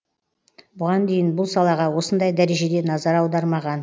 бұған дейін бұл салаға осындай дәрежеде назар аудармаған